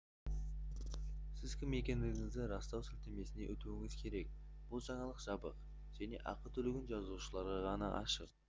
сіз кім екендігіңізді растау сілтемесіне өтуіңіз керек бұл жаңалық жабық және ақы төлеген жазылушыларға ғана ашық